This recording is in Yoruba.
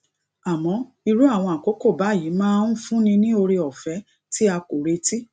àmọ irú àwọn àkókò báyìí máa ń fúnni ní oore òfé tí a kò retí